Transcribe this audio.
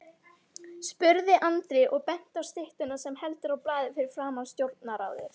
spurði Andri og benti á styttuna sem heldur á blaði fyrir framan Stjórnarráðið.